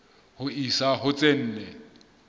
ho isa ho tse nne